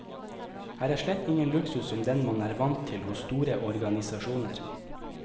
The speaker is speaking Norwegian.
Her er slett ingen luksus som den man er vant til hos store organisasjoner.